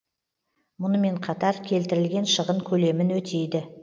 мұнымен қатар келтірілген шығын көлемін өтейді